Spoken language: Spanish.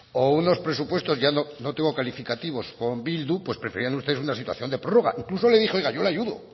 o unos presupuestos ya no tengo calificativos con bildu pues preferían ustedes una situación de prórroga incluso le dije oiga yo le ayudo